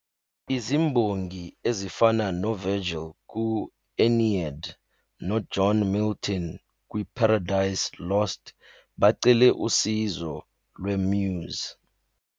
Izimbongi ezifana noVirgil ku- Aeneid noJohn Milton kwi- Paradise Lost bacele usizo lwe- Muse.